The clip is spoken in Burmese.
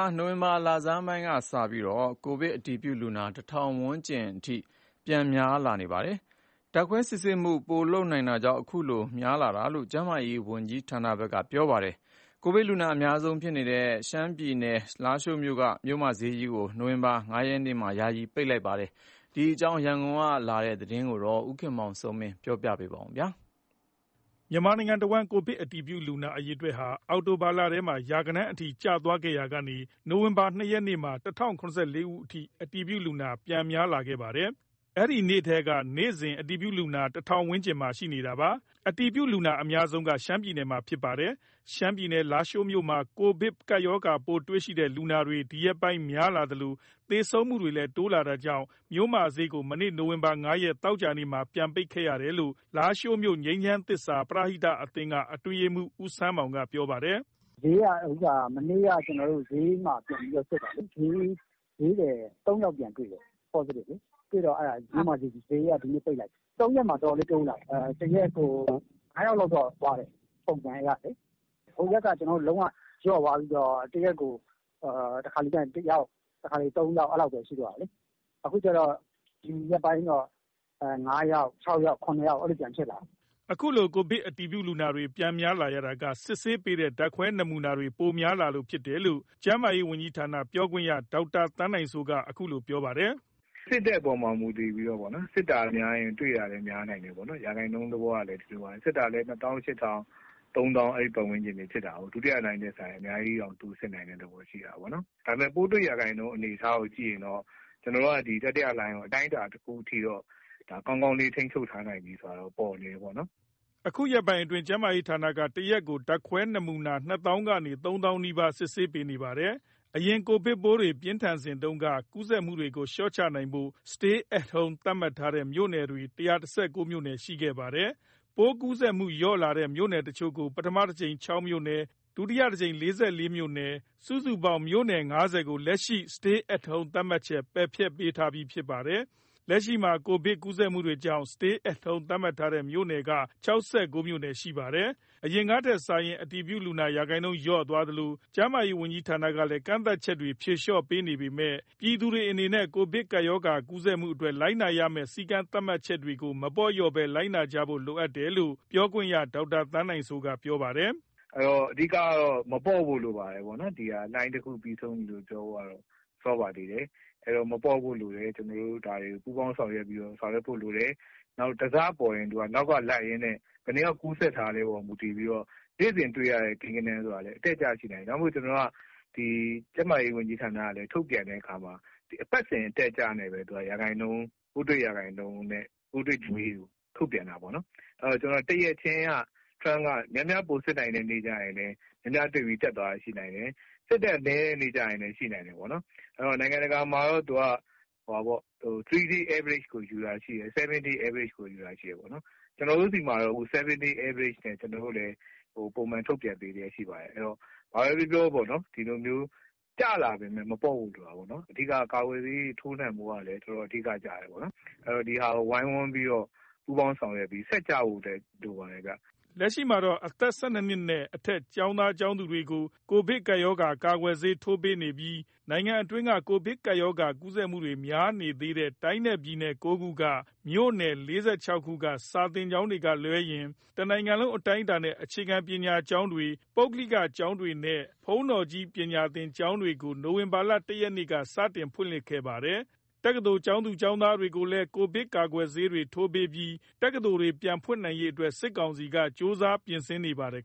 ာ နိုဝင်ဘာလ လဆန်းပိုင်းကစပြီး ၁ ထောင်ဝန်းကျင်အထိ ပြန်များလာပါတယ်။ ဒါဟာ ဓာတ်ခွဲနမူနာ စစ်ဆေးမှုတွေ ပိုပြီးများများ လုပ်လာနိုင်တာကြောင့် ဖြစ်တယ်လို့ ကျန်းမာရေးနဲ့ အားကစားဝန်ကြီးဌာန ပြောခွင့်ရက ပြောပါတယ်။ အတည်ပြုလူနာအများဆုံးဖြစ်နေတဲ့ ရှမ်းပြည်နယ်ထဲက လားရှိုးမြို့ မြို့မဈေးကြီးကို မနေ့ နိုဝင်ဘာ ၅ ရက်နေ့မှာ ယာယီပိတ်လိုက်ပါတယ်။ ဒီအကြောင်း ရန်ကုန်က လာတဲ့သတင်းကို ကိုခင်မောင်စိုးမင်း က ပြောပြပါမယ်။ မြန်မာနိုင်ငံတစ်ဝန်း ကိုဗစ်အတည်ပြုလူနာ အရေအတွက်ဟာ အောက်တိုဘာလထဲမှာ ရာဂဏန်းအထိ ကျသွားခဲ့ရာကနေ နိုဝင်ဘာလ ၂ ရက်နေ့မှာ ၁၀၇၄ ဦးအထိ အတည်ပြုလူနာ ပြန်များခဲ့ပါတယ်။ အဲဒီနေ့ထဲက နေ့စဉ် ကိုဗစ်အတည်ပြုလူနာ ၁၀၀၀ ဝန်းကျင်မှာ ရှိနေတာပါ။ အတည်ပြုလူနာအများဆုံးက ရှမ်းပြည်နယ်မှာဖြစ်ပါတယ်။ ရှမ်းပြည်နယ် လားရှိုးမြို့မှာ ကိုဗစ်ပိုးတွေလူနာတွေ ဒီရက်ပိုင်း များလာသလို သေဆုံးမှုတွေလည်း တိုးလာတာကြောင့် မြို့မဈေးကို မနေ့ နိုဝင်ဘာ ၅ ရက် သောကြာနေ့မှာ ပြန်ပိတ်ခဲ့ရတယ်လို့ လားရှိုးမြို့ ငြိမ်းချမ်းသစ္စာ ပရဟိတအသင်းက အတွင်းရေးမှုး ဦးဆန်းမောင်က ပြောပါတယ်။ “မနေ့က ကျွန်တော်တို့ ဈေးမှာ ပြန်ပြီးတော့ စစ်တာလေ၊ ဈေးသည် ၃ ယောက်ပြန်တွေ့တယ်၊ Positive လေ။ အဲ့ဒါနဲ့ မြို့မဈေးကြီးပေ့ါ၊ ဈေးက ဒီနေ့ ပိတ်လိုက်ပြီ။ ဒီ ၃ ရက်မှာ အတော်လေး တိုးလာတယ်။ တစ်ရက်မှာ ၅ ယောက်လောက်တော့ သွားတယ် ( သေဆုံးသူ) ပုံမှန်အရလေ။ ဟိုရက်တွေတုန်းက ကျွန်တော်တို့ဖက်မှာ အတော်လေးလျော့သွားပြီးတော့မှ တစ်ရက်ကို တခါတစ်လေ တစ်ယောက်၊ တခါတစ်လေ ၃ ယောက် အဲ့လောက်ပဲ ရှိတော့တာလေ။ အခု ဒီရက်ပိုင်းတော့ ၅ယောက်၊ ၆ ယောက်၊ ၇ ယောက် အဲ့လိုပြန်ဖြစ်လာတယ်။” အခုလို ကိုဗစ်အတည်ပြုလူနာတွေ ပြန်များလာရတာက စစ်ဆေးပေးတဲ့ ဓါတ်ခွဲနမူနာတွေ ပိုများလာလို့ဖြစ်တယ်လို့ ကျန်းမာရေးဝန်ကြီးဌာန ပြောခွင့်ရ ဒေါက်တာသန်းနိုင်စိုးက ခုလိုပြောပါတယ်။ “ စစ်တဲ့ အပေါ်မှာ မူတည်တာပေါ့။ စစ်တာများရင် တွေ့တာလဲ များနိုင်တာပေါ့။ ရာခိုင်နှုန်းသဘောကလဲ ဒီလိုပါပဲ။ စစ်တာကလည်း ၂သောင်း ၈ ထောင်၊ ၃သောင်း အဲ့ပတ်ဝန်းကျင်တွေ စစ်တာ။ ဒုတိယလှိုင်းထက်စာရင် အများကြီးတောင် တိုးစစ်နိုင်တဲ့ အနေအထားရှိတာပေါ့။ ဒါပေမယ့် ပိုးတွေ့ရာခိုင်နှုန်း အနေအထားကို ကြည့်ရင်တော့ ကျွန်တော်တို့က ဒီ တတိယလှိုင်းကို အတိုင်းအတာတစ်ခု အထိတော့ ကောင်းကောင်းလေး ထိန်းချုပ်ထားနိုင်ပြီဆိုတာတော့ ပေါ်နေတယ်ပေါ့နှော်” အခုရက်ပိုင်းအတွင်း ကျန်းမာရေးဌာနက တရက်ကို ဓါတ်ခွဲ နမူနာ ၂ သောင်းကနေ ၃ သောင်းနီးပါး စစ်ဆေးပေးနေပါတယ်။ အရင် ကိုဗစ်ပိုးတွေ ပြင်းထန်စဉ်တုန်းက ကူးစက်မှုတွေကို လျော့ချနိုင်ဖို့ Stay at Home သတ်မှတ်ထားတဲ့ မြို့နယ်တွေ ၁၁၉ မြိုနယ် ရှိခဲ့ပါတယ်။ ပိုးကူးစက်မှု လျော့လာတဲ့ မြို့နယ်တစ်ချို့ကို ပထမတစ်ကြိမ် ၆ မြို့နယ်၊ ဒုတိယတစ်ကြိမ်မှာ ၄၄ မြို့နယ် စုစုပေါင်း မြို့နယ် ၅၀ ကို လက်ရှိမှာ Stay at Home သတ်မှတ်ချက် ပယ်ဖျက်ပေးထားပြီး ဖြစ်ပါတယ်။ လက်ရှိမှာ ကိုဗစ်ကူးစက်မှုတွေကြောင့် Stay at Home သတ်မှတ်ထားတဲ့ မြို့နယ်က ၆၉ မြို့နယ်ရှိပါတယ်။ အရင်ကထက်စာရင် အတည်ပြုလူနာ ရာခိုင်နှုန်းလျော့သွားသလို၊ ကျန်းမာရေးဝန်ကြီးဌာနကလည်း ကန့်သတ်ချက်တွေ ဖြည်လျော့ပေးနေပေမယ့် ပြည်သူတွေ အနေနဲ့ ကိုဗစ်ကူးစက်မှုတွေအတွက် လိုက်နာရမယ့် စည်းကမ်းသတ်မှတ်ချက်တွေကို မပေါ့လျော့ဘဲ လိုက်နာကြဖို့ လိုအပ်တယ်လို့ ပြောခွင့်ရ ဒေါက်တာ သန်းနိုင်စိုးက ပြောပါတယ်။ “အဓိကကတော့ မပေါ့ဖို့လိုပါတယ်။လှိုင်းတစ်ခု ပြီးဆုံးပြီလို့ ပြောဖို့ကတော့ စောပါသေးတယ်။ ကျနော်တို့ ဒါတွေကို ပူးပေါင်းဆောင်ရွက်ဖို့လိုတယ်။ သူက တစ်စပေါ်ရင် နောက်ကလိုက်ရင်းနဲ့ ဘယ်နှစ်ယောက်ကူးစက်တာလဲ ဆိုတဲ့ အပေါ်မှာ မူတည်ပြီးတော့ နေ့စဉ်တွေ့ရတဲ့ ကိန်းဂဏန်းဆိုတာကလဲ အတက်အကျရှိနိုင်တယ်။ ဒါကြောင့်မို့ ကျွန်တော်တို့က ကျန်းမာရေး ဝန်ကြီးဌာနက ထုတ်ပြန်တဲ့အခါမှာ အပတ်စဉ်အတက်အကျနဲ့ပဲ ပိုးတွေ့ရာခိုင်နှုန်းနဲ့ ပိုးတွေ့စာရင်းကို ထုတ်ပြန်တာပေါ့နော်။ တစ်ရက်ချင်းကများများစစ်နိုင်တဲ့ နေ့မှာ များများတွေ့ပြီး စာရင်းတက်သွားတာ ဖြစ်နိုင်တယ်။ စစ်တာနည်းတဲ့ နေ့လဲ ရှိနိုင်တယ်ပေါ့နှော်။ နိုင်ငံတကာမှာတော့ သူက 3 days Average ကို ယူတာရှိတယ် 7 days Average ကို ယူတာရှိတယ်ပေါ့။ ကျွန်တော်တို့ကတော့ 7 days Average နဲ့ ပိုးတွေ့စာရင်းကို ထုတ်ပြန်ပေးနေပါတယ်။ အဲ့တော့ ကျလာပေမယ့် မပေါ့ဖို့လိုတာပေါ့နှော်။ အဓိကက ကာကွယ်ဆေးတွေ ထိုးနှံဖို့ကလည်း အဓိက ကျတာပေါ့နှော်။ အဲ့တော့ ဒါကို ဝိုင်းဝန်းဆောင်ရွက်ပြီးတော့ ဆက်ကျနိုင်ဖို့လည်း လိုပါတယ်။” လက်ရှိမှာတော့ အသက် ၁၂ နှစ်နဲ့ အထက် ကျောင်းသူ ကျောင်းသားတွေကို ကိုဗစ်ကာကွယ်ဆေးထိုးပေးပြီး နိုင်ငံအတွင်းက ကိုဗစ်ကူးစက်မှုတွေများနေသေးတဲ့ တိုင်းနဲ့ပြည်နယ် ၉ခုက မြို့နယ် ၄၆ ခုက စာသင်ကျောင်းတွေကလွဲရင် တစ်နိုင်ငံလုံး အတိုင်းအတာနဲ့ အခြေခံပညာကျောင်းတွေ၊ ပုဂ္ဂလိက ကျောင်းတွေနဲ့ ဘုန်းတော်ကြီးပညာသင်ကျောင်းတွေကို နိုဝင်ဘာလ ၁ ရက်နေ့က စတင်ဖွင့်လှစ်ခဲ့တာပါတယ်။ တက္ကသိုလ်ကျောင်းသူ ကျောင်းသားတွေကိုလည်း ကိုဗစ်ကာကွယ်ဆေးတွေ ထိုးပေးပြီး တက္ကသိုလ်တွေ ပြန်ဖွင့်နိုင်ရေးအတွက်လည်း စစ်ကောင်စီက ကြိုးစားပြင်ဆင်နေပါတယ်